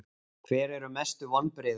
Hver eru mestu vonbrigðin?